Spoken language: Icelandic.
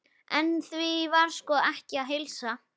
En því var sko ekki að heilsa.